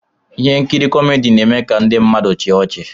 Ihe nkiri kọmedi na-eme ka ndị mmadụ chịa ọchị.